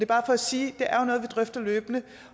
bare for at sige at vi drøfter løbende